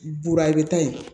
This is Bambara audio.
Buruta ye